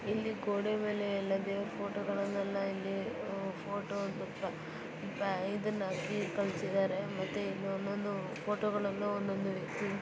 ಇಲ್ಲಿ ಗೋಡೆಯ ಮೇಲೆ ಎಲ್ಲ ದೇವರ ಫೋಟೋಗಳನ್ನೆಲ್ಲ ಇಲ್ಲಿ ಫೋಟೋ ಪಾ ಇದನ್ನ ಹಾಕಿ ಕಳ್ಸಿದರೆ ಮತ್ತೆ ಇಲ್ಲಿ ಒನ್ನೊಂದು ಫೋಟೋಗಳಲ್ಲೂ ಒಂದೊಂದು--